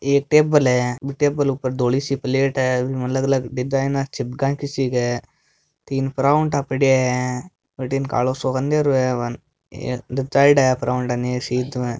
एक टेबल है बी टेबल ऊपर धोली सी प्लेट है उसमे अलग अलग डिज़ाइन छिपका की सी है तीन पराठा पड़या है बठीने कालो सो अंधेरो है बाने जचायोडा है पराठा ने सीध में।